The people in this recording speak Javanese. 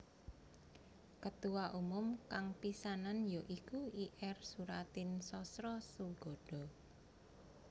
Ketuwa umum kang pisannan ya iku Ir Soeratin Sosrosoegondo